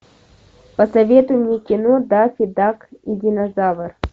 посоветуй мне кино даффи дак и динозавр